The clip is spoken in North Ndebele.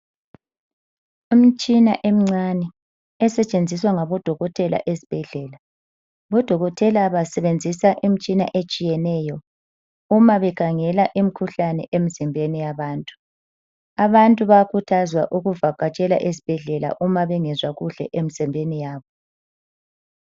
Umtshina emincane esetshenziswa ngabodokotela ezibhedlela. Bodokotela basebenzisa imitshina etshiyeneyo uma bekhangela imikhuhlane emizimbeni yabantu. Abantu bayakhuthazwa ukuvakatshela ezibhedlela uma bengezwa kuhle emizimbeni yabo.